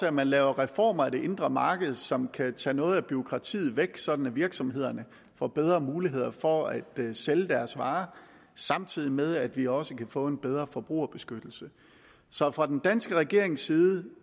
at man laver reformer af det indre marked som kan tage noget af bureaukratiet væk sådan at virksomhederne får bedre muligheder for at sælge deres varer samtidig med at vi også kan få en bedre forbrugerbeskyttelse så fra den danske regerings side